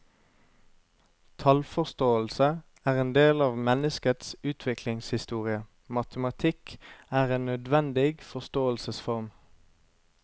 Tallforståelse er en del av menneskets utviklingshistorie, matematikk er en nødvendig forståelsesform.